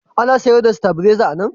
Ana sayar da sitabileza a nan?